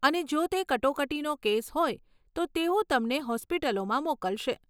અને જો તે કટોકટીનો કેસ હોય તો તેઓ તમને હોસ્પિટલોમાં મોકલશે.